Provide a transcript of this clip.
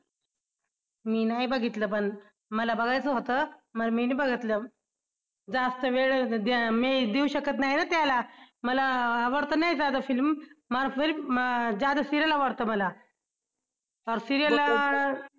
मी नाही बघितलं पण मला बघायचं होतं मी नाही बघितलं. जास्त वेळ मी देऊ शकत नाही ना त्याला मला आवडत नाही ज्यादा film ज्यादा serial आवडतं मला serial ला